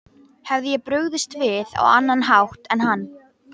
Hefði ég brugðist við á annan hátt en hann?